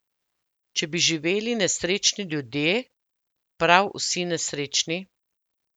Če bi živeli nesrečni ljudje, prav vsi nesrečni?